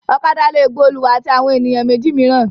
Ọ̀kadà le gba olùwà àti àwọn ènìyàn méjì mìíràn.